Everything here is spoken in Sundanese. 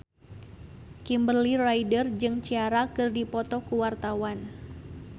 Kimberly Ryder jeung Ciara keur dipoto ku wartawan